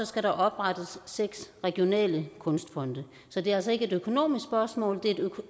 skal der oprettes seks regionale kunstfonde så det er altså ikke et økonomisk spørgsmål det er